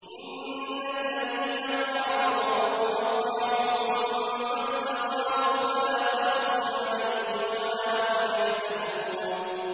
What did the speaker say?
إِنَّ الَّذِينَ قَالُوا رَبُّنَا اللَّهُ ثُمَّ اسْتَقَامُوا فَلَا خَوْفٌ عَلَيْهِمْ وَلَا هُمْ يَحْزَنُونَ